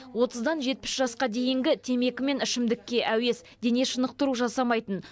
отыздан жетпіс жасқа дейінгі темекі мен ішімдікке әуес дене шынықтыру жасамайтын